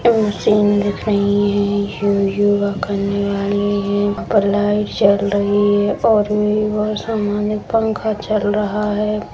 Machine दिख रही है यो योगा करने वाली है ऊपर लाइट जल रही है और भी बहुत सामान है पंखा चल रहा है।